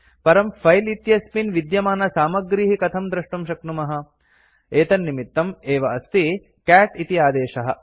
परं फिले इत्यस्मिन् विद्यमानसामग्रीः कथं द्रष्टुं शक्नुमः एतन्निमित्तं एव अस्ति कैट् इति आदेशः